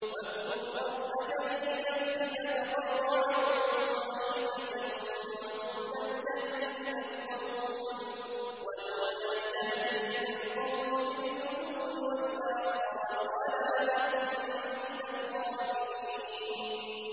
وَاذْكُر رَّبَّكَ فِي نَفْسِكَ تَضَرُّعًا وَخِيفَةً وَدُونَ الْجَهْرِ مِنَ الْقَوْلِ بِالْغُدُوِّ وَالْآصَالِ وَلَا تَكُن مِّنَ الْغَافِلِينَ